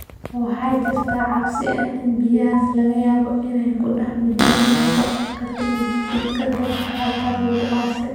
Waxaa jirta cabsi ah in biyahaas laga yaabo inay ku dhex milmeen wasakhda ka timid jidhadka dadka halkaas lagu aasay.